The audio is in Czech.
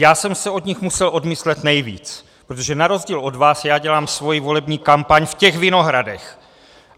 Já jsem se od nich musel odmyslet nejvíc, protože na rozdíl od vás já dělám svoji volební kampaň v těch vinohradech.